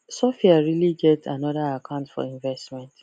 sophia really get another account for investment